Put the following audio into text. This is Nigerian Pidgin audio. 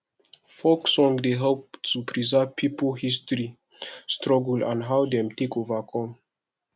folk song dey help to preserve pipo history struggle and how dem take overcome